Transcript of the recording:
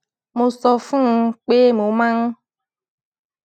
mo sọ fún un pé mo máa ń